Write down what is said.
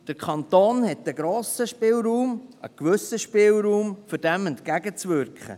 Der Kanton hat einen grossen Spielraum, einen gewissen Spielraum, um dem entgegenzuwirken.